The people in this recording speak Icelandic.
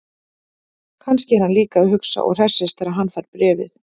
Kannski er hann líka að hugsa og hressist þegar hann fær bréfið.